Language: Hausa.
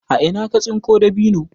a Ina ka tsinko dabino?